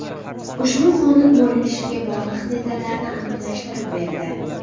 Ushbu qonun bo‘linishga bog‘liq detallarni aniqlashtirib berdi.